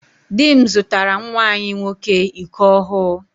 Dị m zụtara nwa anyị nwoke iko ọhụụ.